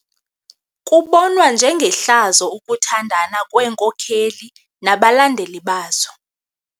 Kubonwa njengehlazo ukuthandana kweenkokeli nabalandeli bazo.